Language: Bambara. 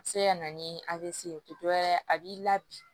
A bɛ se ka na ni dɔ ye a b'i labi